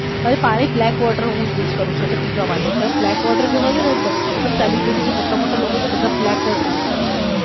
પાણી હું black water હું use કરું છું એટલે પીવા માટે black water જે હોઈ છે ને એ એ બધા મતલબ જે સેલેબ્રીટી થી જે મોટામોટા લોકો હોઈ છે એ બધા black water use કરે છે.